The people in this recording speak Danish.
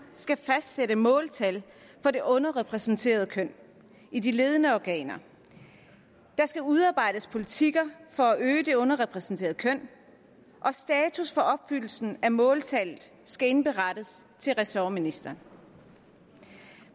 skal fastsætte måltal for det underrepræsenterede køn i de ledende organer der skal udarbejdes politikker for at øge det underrepræsenterede køn og status for opfyldelsen af måltallet skal indberettes til ressortministeren